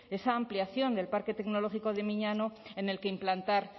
esa ampliación del parque tecnológico de miñano en el que implantar